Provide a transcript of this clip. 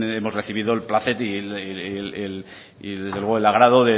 hemos recibido el placer y desde luego el agrado